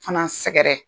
Fana sɛgɛrɛ